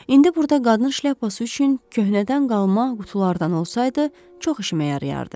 İndi burda qadın şlyapası üçün köhnədən qalma qutulardan olsaydı, çox işimə yarayardı.